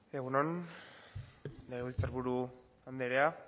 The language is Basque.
egun on legebiltzar buru andrea